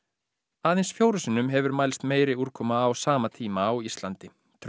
aðeins fjórum sinnum hefur mælst meiri úrkoma á sama tíma á Íslandi